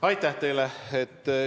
Aitäh teile!